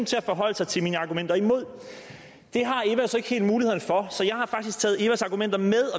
til at forholde sig til mine argumenter imod det har eva så ikke helt muligheden for så jeg har faktisk taget evas argumenter med og